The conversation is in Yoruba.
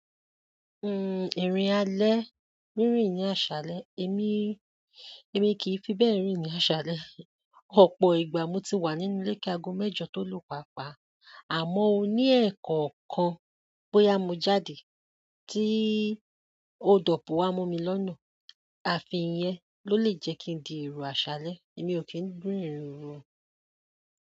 Uhm, ìrìn alẹ́, rinrìn ní àṣálẹ́, èmi, èmi kì í fi bẹ́ẹ̀ rìn ní àṣálẹ́. Ọ̀pọ̀ ìgbà mo ti wà nínú ilé kágo mẹ́jọ tó lọ̀ papà, àmọ́ ó ní ẹ̀ẹ̀kọ̀kan bóyá mo jáde tí ó dọ̀pù wá mú mi lọ́nà. Àfi yẹn ló lè jẹ́ kí n di èrò àṣálẹ́. Èmi ò kí ń rìn irin oru o.